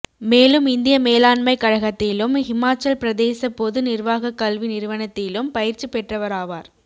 மேலும் இந்திய மேலாண்மை கழகத்திலும் ஹிமாச்சல் பிரதேச பொது நிர்வாகக் கல்வி நிறுவனத்திலும் பயிற்சி பெற்றவராவார்